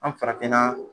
An farafinna